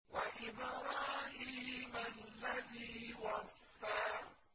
وَإِبْرَاهِيمَ الَّذِي وَفَّىٰ